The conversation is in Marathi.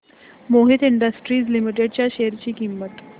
मोहित इंडस्ट्रीज लिमिटेड च्या शेअर ची किंमत